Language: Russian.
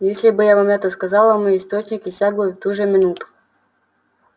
если бы я вам это сказала мой источник иссяк бы в ту же минуту